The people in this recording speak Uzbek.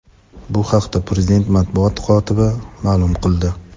Bu haqda prezident matbuot kotibi ma’lum qildi.